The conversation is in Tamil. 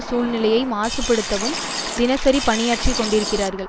சூழ்நிலையை மாசுபடுத்தவும் தினசரி பணியாற்றிக்கொண்டிருக்கிறார்கள்